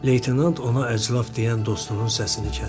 Leytenant ona əclaf deyən dostunun səsini kəsdi.